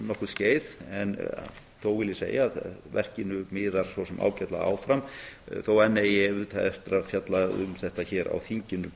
skeið en þó vil ég segja að verkinu miðar svo sem ágætlega áfram þótt enn eigi auðvitað eftir að fjalla um þetta hér á þinginu